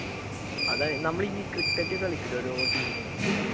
അതാ നമ്മൾ ഈ ക്രിക്കറ്റ് കളിക്കൂലേ ഓരോ ടീമും